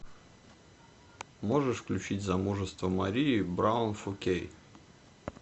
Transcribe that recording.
можешь включить замужество марии браун фор кей